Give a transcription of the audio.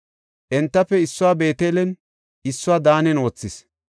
Entafe issuwa Beetelen, issuwa Daanen wothis.